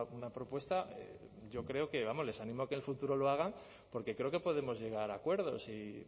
una propuesta yo creo que vamos les animo a que en el futuro lo haga porque creo que podemos llegar a acuerdos y